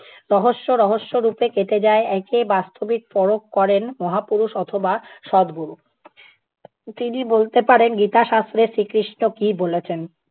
রহস্য রহস্য রূপে কেটে যায়। একে বাস্তবিক পরখ করেন মহাপুরুষ অথবা সদগুরু। তিনি বলতে পারেন গীতা শাস্ত্রে শ্রীকৃষ্ণ কী বলেছেন।